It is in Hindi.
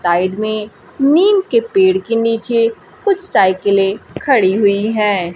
साइड में नीम के पेड़ के नीचे कुछ साईकिलें खड़ी हुई हैं।